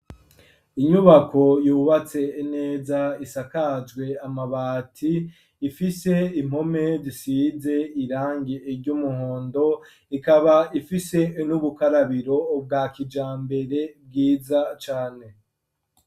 Inyubako yubatse neza isakajwe amabati ifise impome zisize irangi iryo umuhondo ikaba ifise inubukarabiro ubwa kija mbere bwiza cane.